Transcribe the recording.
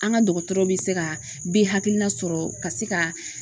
An ka dɔgɔtɔrɔ bɛ se ka bɛ hakilina sɔrɔ ka se ka